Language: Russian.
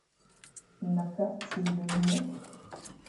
на карте ленок